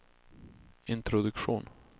introduktion